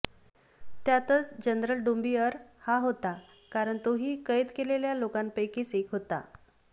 त्यांतच general डोंबिअर हा होता कारण तोही कैद केलेल्या लोकांपैकींच येक होता